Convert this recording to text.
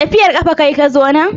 Tafiyar kafa kayi ka zo nan?